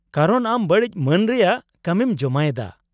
ᱠᱟᱨᱚᱱ ᱟᱢ ᱵᱟᱹᱲᱤᱡ ᱢᱟᱱ ᱨᱮᱭᱟᱜ ᱠᱟᱹᱢᱤᱢ ᱡᱚᱢᱟᱭᱮᱫᱟ ᱾